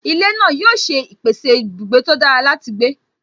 Ilé náà yóò ṣe pèsè ibùgbé tó dára láti gbé